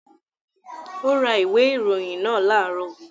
Ó ra ìwé ìròyìn náà láàárọ̀